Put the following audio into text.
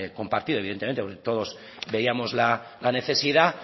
compartido evidentemente porque todos veíamos la necesidad